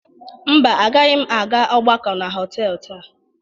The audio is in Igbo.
Mba, agaghị m aga ọgbakọ na họtelụ taa.